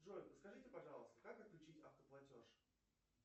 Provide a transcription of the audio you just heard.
джой подскажите пожалуйста как отключить автоплатеж